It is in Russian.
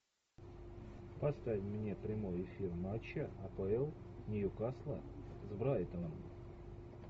поставь мне прямой эфир матча апл ньюкасла с брайтоном